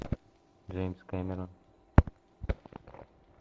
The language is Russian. джеймс кэмерон